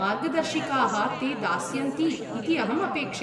मार्गदर्शिकाः ते दास्यन्ति इति अहं अपेक्षे।